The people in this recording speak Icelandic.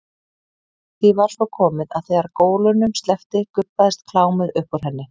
Því var svo komið að þegar gólunum sleppti gubbaðist klámið upp úr henni.